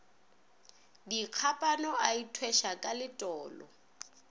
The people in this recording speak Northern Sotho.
dikgapana a ithweša ka letolo